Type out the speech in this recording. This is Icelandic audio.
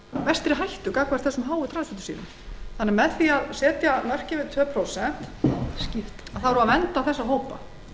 mestri hættu vegna mikillar neyslu á transfitusýrum með því að setja mörkin við tvö prósent verndum við þessa